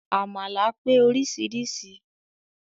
Àmàlà pé oríṣiríṣi